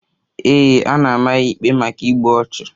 Ee, a na-ama ya ikpe maka igbu ọchụ.